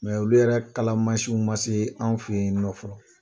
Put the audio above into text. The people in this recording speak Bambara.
olu yɛrɛ kala mansinw man se an fɛ yen nɔ fɔlɔ.